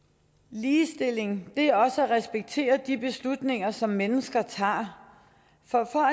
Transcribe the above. ligestilling er også at respektere de beslutninger som mennesker tager for